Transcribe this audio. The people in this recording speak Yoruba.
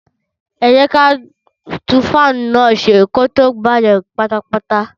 Ẹ jẹ́ kí á tún fáánù náà ṣe kí ó tó bàjé pátápátá